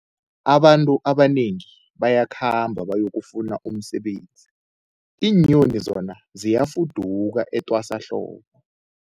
Abantu abanengi bayakhamba bayokufuna umsebenzi, iinyoni zona ziyafuduka etwasahlobo.